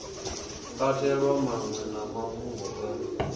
katelwa maṅwe a mafhungo o